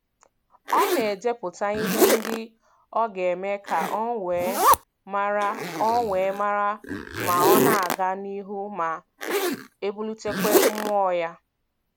Ọ na-edepụta ihe ndị o ga-eme ka o wee mara o wee mara ma ọ na-aga n'ihu ma bulitekwa mmụọ ya.